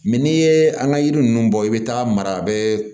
Mɛ n'i ye an ka yiri ninnu bɔ i bɛ taga mara a bɛ